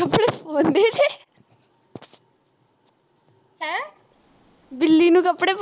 ਬਿੱਲੀ ਨੂੰ ਕੱਪੜੇ ਪੁਆ